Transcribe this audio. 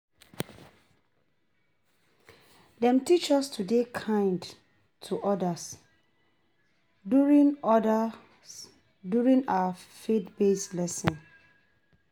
Dem teach us to dey kind to others during others during our faith-based lessons.